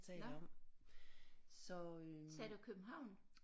Nåh sagde du København